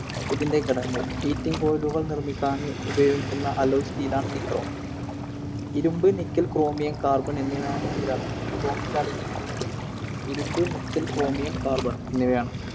ഇതിൻറെ ഘടകങ്ങൾ. Heating coil കൾ നിർമ്മിക്കാൻ ഉപയോഗിക്കുന്ന alloy steel ആണ് Nichrome. ഇരുമ്പ്, Nickel, Chromium, Carbon, Nichrome ൽ ആണ് ഇരിക്കുന്നത്. ഇരുമ്പ്, Nickel, Chromium, Carbon എന്നിവയാണ്.